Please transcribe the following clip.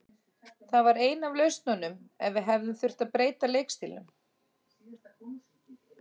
Það var ein af lausnunum ef við hefðum þurft að breyta leikstílnum.